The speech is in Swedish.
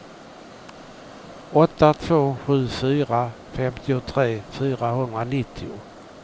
åtta två sju fyra femtiotre fyrahundranittio